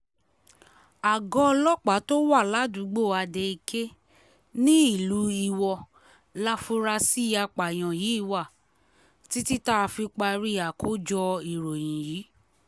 àgọ́ ọlọ́pàá tó wà ládùúgbò adeeké nílùú iwọ láforasí àpààyàn yìí wà títí tá a fi parí àkójọ ìròyìn yìí